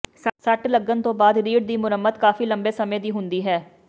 ਸੱਟ ਲੱਗਣ ਤੋਂ ਬਾਅਦ ਰੀੜ੍ਹ ਦੀ ਮੁਰੰਮਤ ਕਾਫ਼ੀ ਲੰਬੇ ਸਮੇਂ ਦੀ ਹੁੰਦੀ ਹੈ